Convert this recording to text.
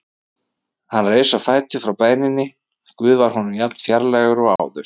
Hann reis á fætur frá bæninni: Guð var honum jafn fjarlægur og áður.